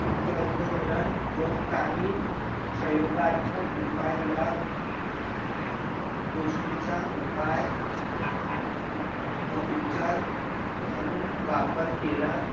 क करण व काही, प्रयोगात्मक उपाय ह्या, गोष्टी चा उपाय अ उपचार म्हणून वापर केला